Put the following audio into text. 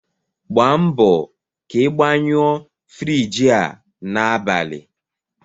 Gba mbọ ka ị gbanyụọ Friji a n'abalị!